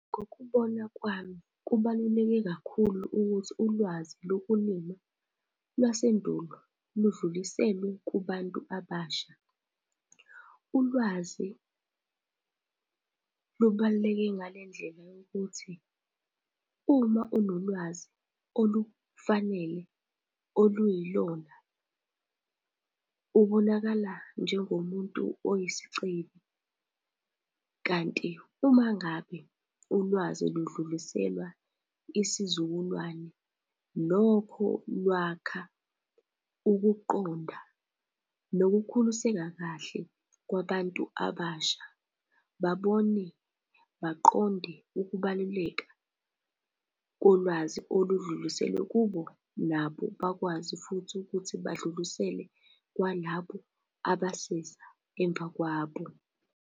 Ngokubona kwami kubaluleke kakhulu ukuthi ulwazi lokulima lwasendulo ludluliselwe kubantu abasha. Ulwazi lubaluleke ngale ndlela yokuthi uma unolwazi olufanele, oluyilona ubonakala njengomuntu oyisicebi. Kanti uma ngabe ulwazi ludluliselwa isizukulwane, nokho lwakha ukuqonda nokukhuliseka kahle kwabantu abasha babone, baqonde ukubaluleka kolwazi oludluliselwa kubo, nabo bakwazi futhi ukuthi badlulisele kwalabo abaseza emva kwabo.